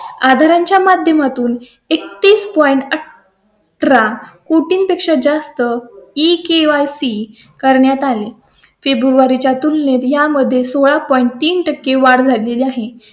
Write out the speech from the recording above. आधार च्या माध्यमातून एकतीस point अकरा. कोटी पेक्षा जास्त की केवायसी करण्यात आली. फेब्रुवारी च्या तुलनेत यामध्ये सोळा point तीन टक्के वाढ झाली आहे.